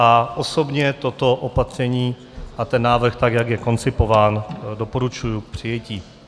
A osobně toto opatření a ten návrh, tak jak je koncipován, doporučuji k přijetí.